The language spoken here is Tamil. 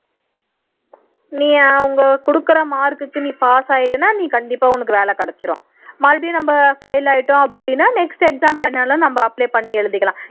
நீ அவங்க குடுக்குற mark க்கு pass ஆகிட்டீனா நீ கண்டிப்பா உனக்கு வேலை கிடைச்சிரும் மறுபடியும் நம்ம file ஆயிட்டோம் அப்படின்னா next exam ன்னாலும் நம்ம apply பண்ணி எழுதிக்கலாம்